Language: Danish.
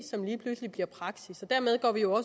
lige pludselig bliver praksis dermed